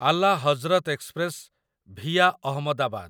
Ala Hazrat express via Ahmedabad